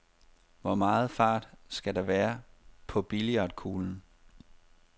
Hvor meget fart skal der være på billiardkuglen?